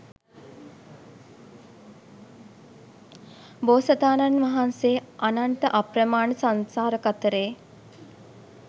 බෝසතාණන් වහන්සේ අනන්ත අප්‍රමාණ සංසාර කතරේ